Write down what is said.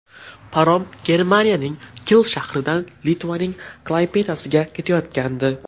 Parom Germaniyaning Kil shahridan Litvaning Klaypedasiga ketayotgandi.